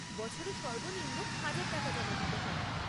বছরে সর্বনিম্ন হাজার টাকা জমা দিতে হয়।